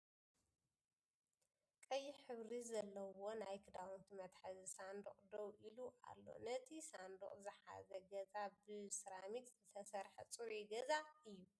ቀይሕ ሕብሪ ዘሎው ናይ ክዳውንቲ መትሐዚ ሰንዱቅ ደው ኢሉ ኣሎ ። ንቲ ሳንዱቅ ዝሕዘ ገዛ ብ ሴራሚክ ዝተሰረሕ ፅሩይ ገዛ እዩ ።